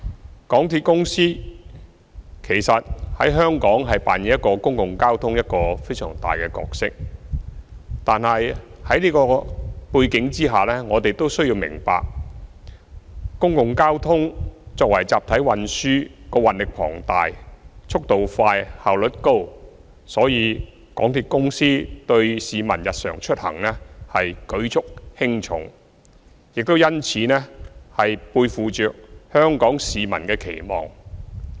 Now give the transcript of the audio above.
香港鐵路有限公司在香港的公共交通扮演一個非常重要的角色，在這個背景下，我們要明白港鐵作為公共交通的集體運輸系統，運載力龐大、速度快、效率高，所以，港鐵對市民日常出行舉足輕重，背負着香港市民的期望。